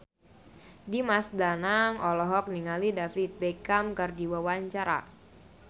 Dimas Danang olohok ningali David Beckham keur diwawancara